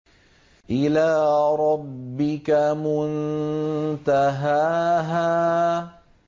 إِلَىٰ رَبِّكَ مُنتَهَاهَا